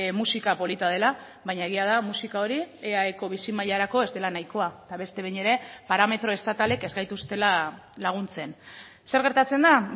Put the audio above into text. musika polita dela baina egia da musika hori eaeko bizi mailarako ez dela nahikoa eta beste behin ere parametro estatalek ez gaituztela laguntzen zer gertatzen da